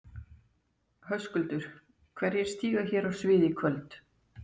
Höskuldur: Og hverjir stíga hér á svið í kvöld?